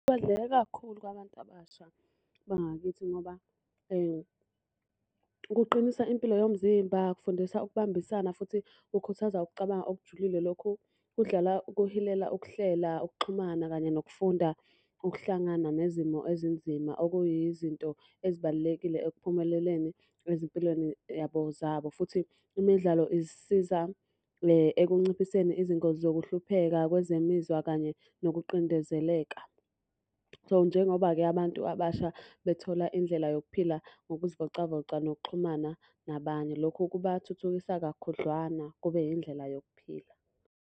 kakhulu kwabantu abasha bangakithi ngoba kuqinisa impilo yomzimba, kufundisa ukubambisana futhi kukhuthaza ukucabanga okujulile. Lokhu kudlala ukuhilela ukuhlela, ukuxhumana, kanye nokufunda ukuhlangana nezimo ezinzima okuyizinto ezibalulekile ekuphumeleleni ezimpilweni yabo zabo. Futhi imidlalo isiza ekunciphiseni izingozi zokuhlupheka kwezemizwa kanye nokuqindezeleka. So, njengoba-ke abantu abasha bethola indlela yokuphila ngokuzivocavoca nokuxhumana nabanye. Lokhu kubathuthukisa kakhudlwana kube yindlela yokuphila.